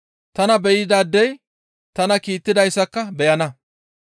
Tana be7idaadey tana kiittidayssaka beyana.